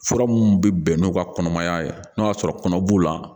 Fura minnu bɛ bɛn n'u ka kɔnɔmaya ye n'o y'a sɔrɔ kɔnɔ b'u la